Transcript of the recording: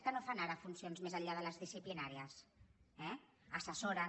que no en fan ara de funcions més enllà de les disciplinàries eh assessoren